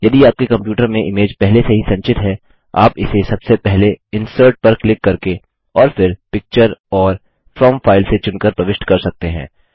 यदि आपके कम्प्यूटर में इमेज पहले से ही संचित है आप इसे सबसे पहले इंसर्ट पर क्लिक करके और फिर पिक्चर और फ्रॉम फाइल से चुनकर प्रविष्ट कर सकते हैं